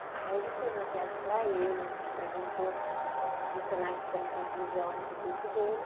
Aí a gente fez uma peça para ele, a gente apresentou no Senac como conclusão do curso dele.